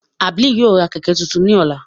Abel ​​yóò ra kẹkẹ tuntun ni ọla.